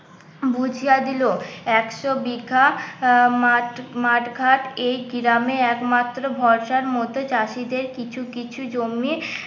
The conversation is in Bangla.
বুঝিয়া দিল একশো বিঘা আহ মাট মাঠ ঘাট, এই গ্রামে একমাত্র ভরসার মতো চাষীদের কিছু কিছু জমির